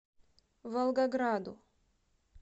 волгограду